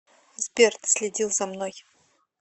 сбер ты следил за мной